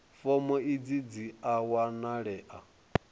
fomo idzi dzi a wanalea